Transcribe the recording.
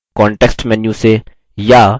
context menu से या